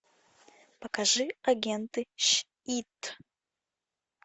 покажи агенты щит